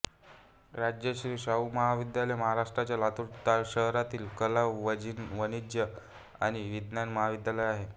राजर्षी शाहू महाविद्यालय महाराष्ट्राच्या लातूर शहरातील कला वाणिज्य आणि विज्ञान महाविद्यालय आहे